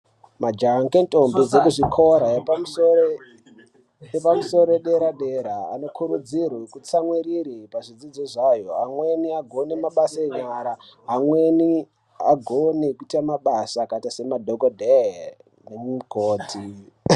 Majaha nentombi ekuzvikora zvepamusoro dera dera anokurudzirwa kutsamwirira pachidzidzo zvawo amweni agone mabasa enyara amweni agone kuite mabasa akaita semadhokodheya nemikhoti.